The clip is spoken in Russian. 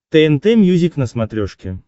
тнт мьюзик на смотрешке